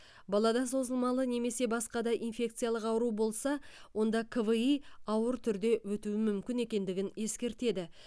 балада созылмалы немесе басқада инфекциялық ауру болса онда кви ауыр түрде өтуі мүмкін екендігін ескертеді